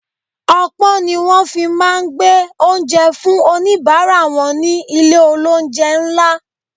Opon ni wón fi máa ń gbé oúnjẹ fún onibaara wọn ni ilé olounje ńlá.